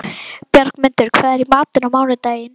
Bjargmundur, hvað er í matinn á mánudaginn?